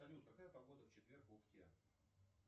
салют какая погода в четверг в ухте